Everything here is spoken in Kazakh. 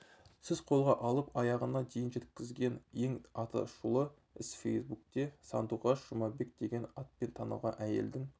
сіз қолға алып аяғына дейін жеткізген ең атышулы іс фейсбукте сандуғаш жұмабек деген атпен танылған әйелдің